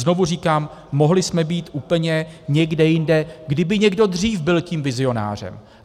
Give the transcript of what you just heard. Znovu říkám, mohli jsme být úplně někde jinde, kdyby někdo dřív byl tím vizionářem.